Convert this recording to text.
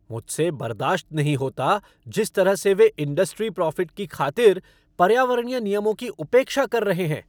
मुझे बर्दाश्त नहीं होता जिस तरह से वे इंडस्ट्री प्रॉफ़िट की खातिर पर्यावरणीय नियमों की उपेक्षा कर रहे हैं।